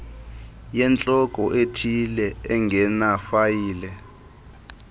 yentloko ethile engenafayile